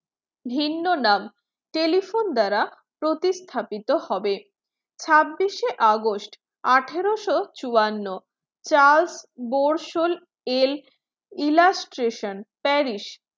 ভিন্ন নাম telephone দ্বারা প্রতিস্থাপিত হবেছাব্বিশে august আঠারোশো চুয়ান্ন চার্লস বোরসেল এল ইলাস্ট্রেশন প্যারিস